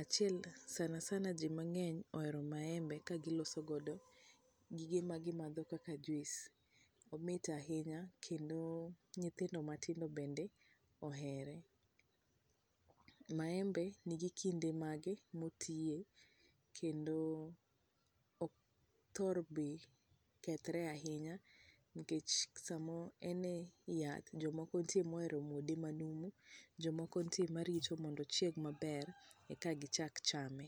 ,achiel sana sana ji mang'eny ohero maembe ka giloso godo gige ma gimadho kaka juice omit ahinya kendo nyithindo matindo bende ohere. Maembe ni gi kinde mage motiye kendo ok othor be kethre ahinya nikech sama en e yath jomoko nitie mohero muode manumu jomoko nitie marito mondo ochieg maber eka gichak chame.